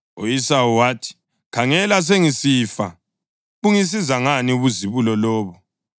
U-Esawu wathi, “Khangela, sengisifa. Bungisiza ngani ubuzibulo lobo?”